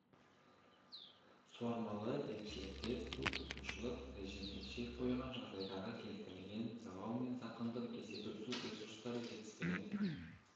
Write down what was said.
суармалы егіншілікте су тұтынушылық режиміне шек қойған жағдайдағы келтірілген залал мен зақымдық есебі су ресурстары жетіспеген